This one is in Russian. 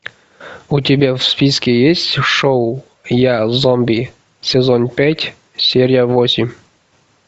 у тебя в списке есть шоу я зомби сезон пять серия восемь